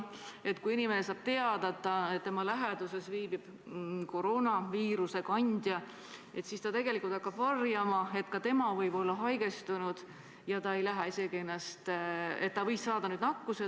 Näiteks kui inimene saab teada, et tema läheduses on viibinud koroonaviiruse kandja, siis võib ta hakata varjama, et ka tema võis saada nakkuse ja et ka tema võib olla haigestunud.